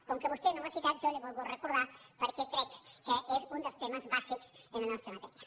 com que vostè no ho ha citat jo li ho he volgut recordar perquè crec que és un dels temes bàsics en la nostra matèria